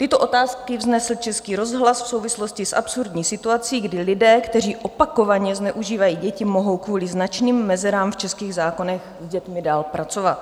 Tyto otázky vznesl Český rozhlas v souvislosti s absurdní situací, kdy lidé, kteří opakovaně zneužívají děti, mohou kvůli značným mezerám v českých zákonech s dětmi dál pracovat.